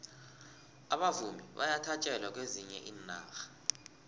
abavumi bayathatjelwa kwezinye iinarha